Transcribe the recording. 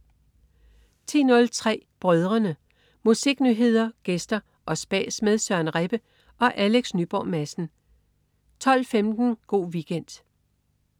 10.03 Brødrene. Musiknyheder, gæster og spas med Søren Rebbe og Alex Nyborg Madsen 12.15 Go' Weekend